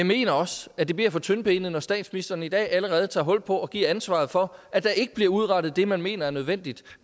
mener også at det bliver for tyndbenet når statsministeren i dag allerede tager hul på at give ansvaret for at der ikke bliver udrettet det man mener er nødvendigt